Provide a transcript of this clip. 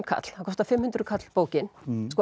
kall það kostar fimm hundruð kall bókin